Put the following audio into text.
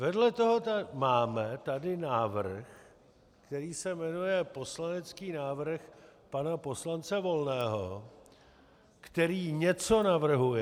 Vedle toho tady máme návrh, který se jmenuje poslanecký návrh pana poslance Volného, který něco navrhuje...